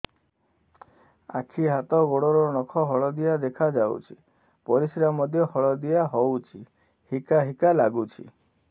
ଆଖି ହାତ ଗୋଡ଼ର ନଖ ହଳଦିଆ ଦେଖା ଯାଉଛି ପରିସ୍ରା ମଧ୍ୟ ହଳଦିଆ ହଉଛି ହିକା ହିକା ଲାଗୁଛି